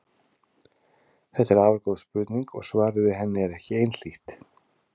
Þetta er afar góð spurning og svarið við henni er ekki einhlítt.